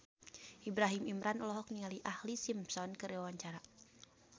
Ibrahim Imran olohok ningali Ashlee Simpson keur diwawancara